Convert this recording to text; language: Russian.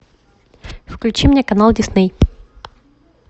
включи мне канал дисней